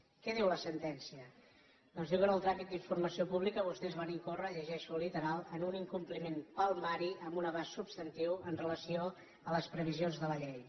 què diu la sentència doncs diu que en el tràmit d’informació pública vostès van incórrer ho llegeixo literal en un incompliment palmari amb un abast substantiu amb relació a les previsions de la llei